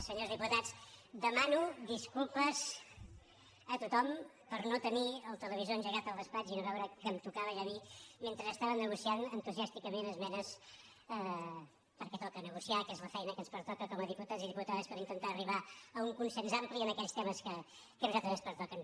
senyors diputats dema·no disculpes a tothom per no tenir el televisor engegat al despatx i no veure que em tocava ja a mi mentre estàvem negociant entusiàsticament esmenes perquè toca negociar que és la feina que ens pertoca com a diputats i diputades per intentar arribar a un consens ampli en aquells temes que a nosaltres ens pertoquen